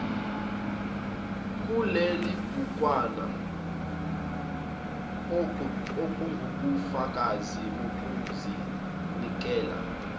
kulelibhukwana ungubufakazi bokuzinikela